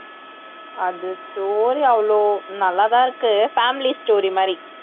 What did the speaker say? அது story அவ்ளோ நல்லாதான் இருக்கு family story மாதிரி